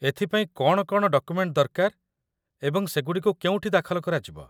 ଏଥିପାଇଁ କ'ଣ କ'ଣ ଡକୁମେଣ୍ଟ ଦରକାର ଏବଂ ସେଗୁଡ଼ିକୁ କେଉଁଠି ଦାଖଲ କରାଯିବ?